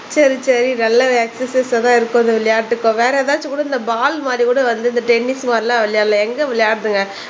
சரி சரி நல்ல எக்ஸர்சைஸ் ஆதான் இருக்கும் இந்த விளையாட்டு இப்போ வேற எதாச்சும் கூட இந்த பால் மாதிரி கூட வந்து இந்த டென்னிஸ் மாதிரி எல்லாம் விளையாடலாம் எங்க விளையாடுதுங்க.